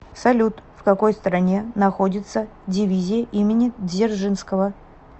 салют в какой стране находится дивизия имени дзержинского